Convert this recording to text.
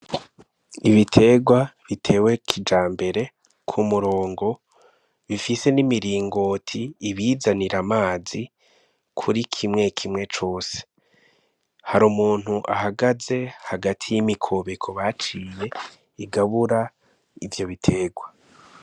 Ibiterwa, bitewe kija mbere k’umurongo bifise n'imiringoti ibizanira amazi kuri kimwe kimwe cose hari umuntu ahagaze hagati y'imikobeko baciye igabura ivyo biterwa.